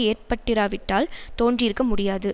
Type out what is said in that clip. ஏற்பட்டிராவிட்டால் தோன்றியிருக்க முடியாது